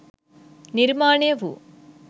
නිර්මාණය වූ